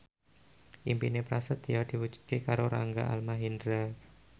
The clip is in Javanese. impine Prasetyo diwujudke karo Rangga Almahendra